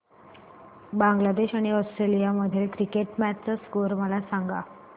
बांगलादेश आणि ऑस्ट्रेलिया मधील cricket match चा स्कोअर मला सांगा